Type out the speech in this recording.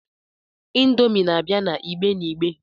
Indomi na-abia n'igbe n'igbe.